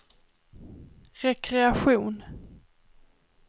rekreation